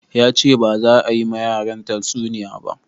Yace baza a yi ma yaran ta tsuniya ba